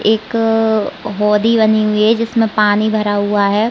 एक होदी बनी हुई है जिसमें पानी भरा हुआ है।